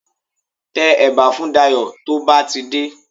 Tẹ ẹ̀bà fún Dayọ̀ tó bá ti dé